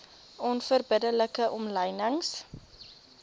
onverbidde like omlynings